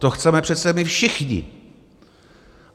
To chceme přece my všichni.